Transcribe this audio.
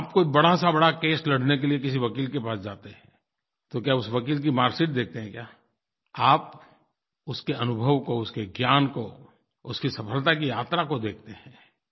आप कोई बड़ा से बड़ा केस लड़ने के लिए किसी वकील के पास जाते हैं तो क्या उस वकील की मार्क्सशीट देखते हैं क्या आप उसके अनुभव को उसके ज्ञान को उसकी सफलता की यात्रा को देखते हैं